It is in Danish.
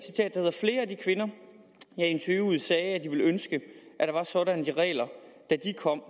kvinder jeg interviewede sagde at de ville ønske at der var sådanne regler da de kom